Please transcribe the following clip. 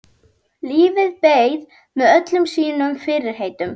Lífið beið með öllum sínum fyrirheitum.